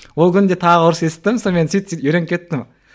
ол күні де тағы ұрыс есіттім сонымен сөйтіп сөйтіп үйреніп кеттім